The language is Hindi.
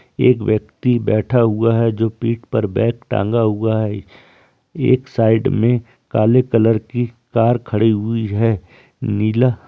एक व्यक्ति बैठा हुआ है जो पीठ पर बैग टाँगा हुआ है | एक साइड में काले कलर की कार खड़ी हुई है | नीला --